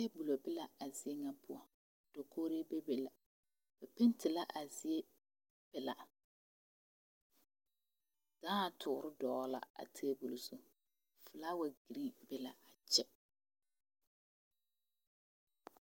tabule bi la a zie na poʊ dakogre bebe la bɛ pɛnte la a zie pilaa daă toɔre dogla a tabule zu folawa gree be la a kye